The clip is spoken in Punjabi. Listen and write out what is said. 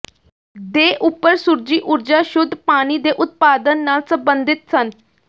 ਦੇ ਉੱਪਰ ਸੂਰਜੀ ਊਰਜਾ ਸ਼ੁੱਧ ਪਾਣੀ ਦੇ ਉਤਪਾਦਨ ਨਾਲ ਸੰਬੰਧਿਤ ਸਨ